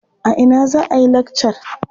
A ina za a yi lakcar?